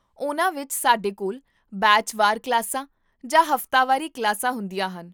ਉਨ੍ਹਾਂ ਵਿੱਚ, ਸਾਡੇ ਕੋਲ ਬੈਚ ਵਾਰ ਕਲਾਸਾਂ ਜਾਂ ਹਫ਼ਤਾਵਾਰੀ ਕਲਾਸਾਂ ਹੁੰਦੀਆਂ ਹਨ